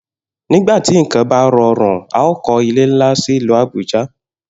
Nígbà tí nǹkan bá ro̩rùn, a óò kó̩ ilé ńlá sì ìlú Àbújá